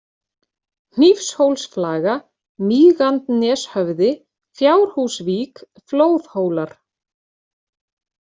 Hnífshólsflaga, Mígandneshöfði, Fjárhúsvík, Flóðhólar